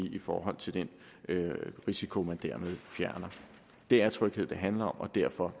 i forhold til den risiko man dermed fjerner det er tryghed det handler om og derfor